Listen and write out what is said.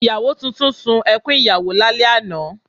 Ìyàwó tuntun sun ẹkún ìyàwó lálẹ́ àná